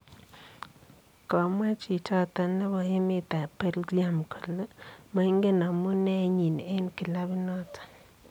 Komwaa Chichoton nebo emet ab Belgium kole moingen amunee iyiin en kilabinoton.